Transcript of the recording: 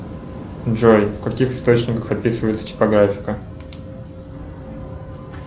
джой в каких источниках описывается типографика